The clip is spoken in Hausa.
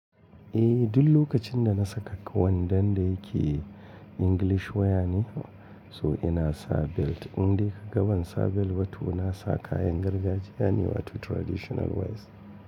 Eh, duk lokacin da na saka wandon da yake English wear ne, so ina sa belt. In dai ka ga ban sa belt ba, toh na sa kayan gargajiya ne wa toh traditional wears.